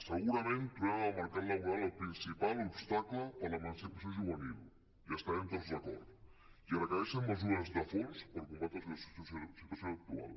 segurament trobem en el mercat laboral el principal obstacle per a l’emancipació juvenil hi estarem tots d’acord i es requereixen mesures de fons per combatre la situació actual